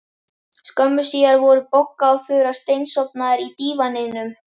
Skömmu síðar voru Bogga og Þura steinsofnaðar á dívaninum.